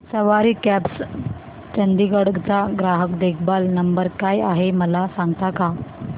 सवारी cabs Chandigarh चा ग्राहक देखभाल नंबर काय आहे मला सांगता का